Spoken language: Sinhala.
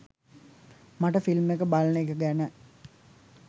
මට ෆිල්ම් එක බලන එක ගැන